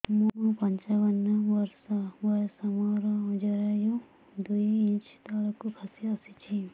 ମୁଁ ପଞ୍ଚାବନ ବର୍ଷ ବୟସ ମୋର ଜରାୟୁ ଦୁଇ ଇଞ୍ଚ ତଳକୁ ଖସି ଆସିଛି